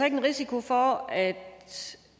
en risiko for at